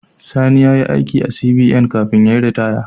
Sani yayi aiki a CBN kafin yayi ritaya